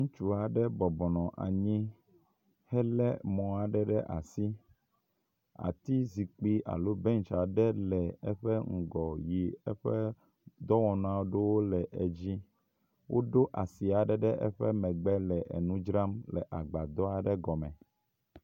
Ŋutsu aɖe bɔbɔnɔ anyi hele mɔ aɖe ɖe asi, ati zikpi alo bench aɖe le eƒe ŋgɔ yi eƒe dɔwɔnu aɖewo le edzi. Woɖo asi aɖe ɖe eƒe megbe le enu dzram le agbadɔ aɖe gɔme.